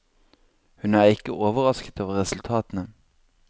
Hun er ikke overrasket over resultatene.